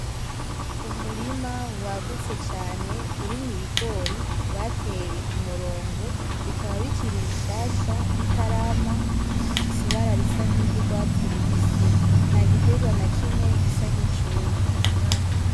Umurima wagutse Cane urimwo ibigori bateye kumurongo bikaba bikiri bishasha bitarama bigifise ibara risa nkiry, urwatsi rubisi ntagiterwa na kimwe gisa nkicumye